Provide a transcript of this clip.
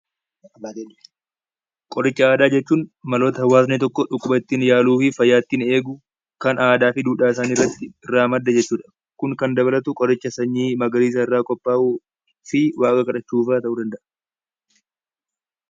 Qoricha aadaa jechuun maloota hawaasni tokko dhukkuba ittiin yaaduu fi ittiin eeguuf kan aadaa fi duudhaa isaa irraa madda jechuudha. Kun kan dabalatu biqiloota sanyii magariisa irraa qophaa'uu fi waaqa kadhachuu fa'aa ta'uu danda'a.